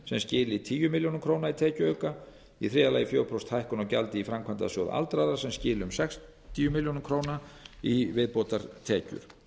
sem skili tíu milljónir króna tekjuauka í þriðja lagi fjögurra prósenta hækkun á gjaldi í framkvæmdasjóð aldraðra sem skili um sextíu milljónir króna í viðbótartekjur